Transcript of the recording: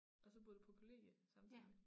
Og så boede du på kollegie samtidigt